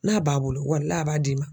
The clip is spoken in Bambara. N'a b'a bolo walahi a b'a d'i ma.